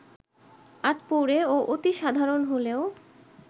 আটপৌরে ও অতি সাধারণ হলেও